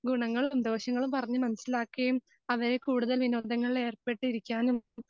ഗുണങ്ങളും ദോഷങ്ങളും പറഞ്ഞു മനസ്സിലാക്കുകയും അവരെ കൂടുതൽ വിനോദങ്ങളിൽ ഏർപ്പെട്ടിരിക്കാനും